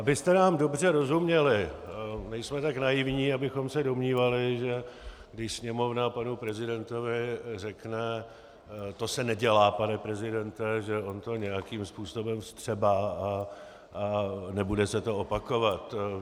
Abyste nám dobře rozuměli, nejsme tak naivní, abychom se domnívali, že když Sněmovna panu prezidentovi řekne "o se nedělá, pane prezidente", že on to nějakým způsobem vstřebá a nebude se to opakovat.